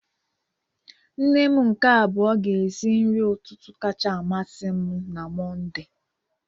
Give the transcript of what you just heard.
Nne m nke abuo ga-esi nri ụtụtụ kacha amasị m na Mọnde.